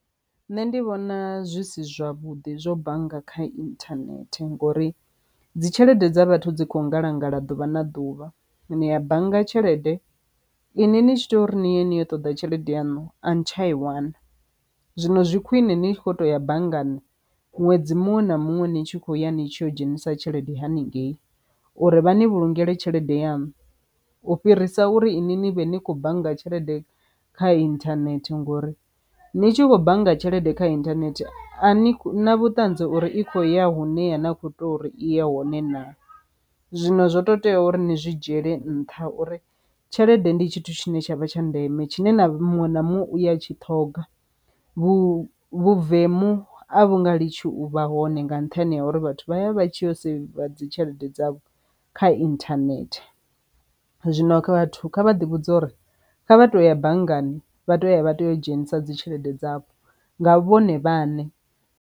Nṋe ndi vhona zwi si zwavhuḓi zwo bannga kha internet ngori dzi tshelede dza vhathu dzi kho ngalangala ḓuvha na ḓuvha nia bannga tshelede inwi ni tshi tea uri niye ni yo ṱoḓa tshelede yaṋu a ni tsha i wana, zwino zwi khwine ni tshi kho to ya banngani ṅwedzi muṅwe na muṅwe ni tshi kho ya ni tshi yo dzhenisa tshelede haningei uri vha ni vhulungele tshelede yanu u fhirisa uri ini ni vhe ni khou bannga tshelede kha internet ngori ni tshi khou bannga tshelede kha internet a ni na vhuṱanzi uri i khou ya hune ya na kho tea uri i ye hone na, zwino zwo to tea uri ni zwi dzhiyele nṱha uri tshelede ndi tshithu tshine tshavha tsha ndeme tshine na muṅwe na muṅwe uya tshi ṱhoga. Vhuvemu a vhunga litshi u vha hone nga nṱhani ha uri vhathu vha ya vha tshi ya u seiva dzi tshelede dza vho kha internet, zwino kha vhathu kha vha ḓi vhudze uri kha vha to ya banngani vha to ya vha to u dzhenisa dzi tshelede dzavho nga vhone vhaṋe.